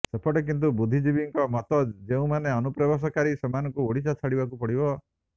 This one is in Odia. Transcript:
ସେପଟେ କିନ୍ତୁ ବୁଦ୍ଧିଜୀବୀଙ୍କ ମତ ଯେଉଁମାନେ ଅନୁପ୍ରବେଶକାରୀ ସେମାନଙ୍କୁ ଓଡିଶା ଛାଡିବାକୁ ପଡିବ